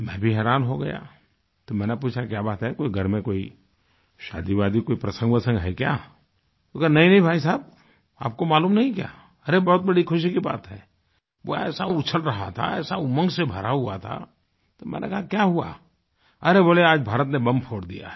मैं भी हैरान हो गया तो मैंने पूछा क्या बात है कोई घर में कोई शादीवादी कोई प्रसंगवसंग है क्या उसने कहा नहींनहीं भाईसाहब आपको मालूम नहीं क्या अरे बहुत बड़ी खुशी की बात है वो ऐसा उछल रहा था ऐसा उमंग से भरा हुआ था तो मैंने कहा क्या हुआ अरे बोले आज भारत ने बॉम्ब फोड़ दिया है